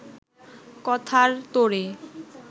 কথার তোড়ে